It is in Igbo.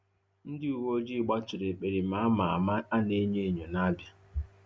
Ndị uwe ojii gbaturu ekperima a ma ama a na-enyo enyo n'Abịa.